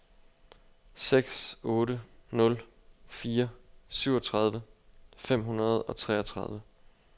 seks otte nul fire syvogtredive fem hundrede og treogtredive